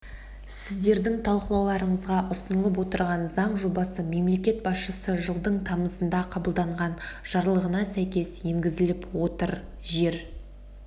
сіздердің талқылауларыңызға ұсынылып отырған заң жобасы мемлекет басшысы жылдың тамызында қабылдаған жарлығына сәйкес енгізіліп отыр жер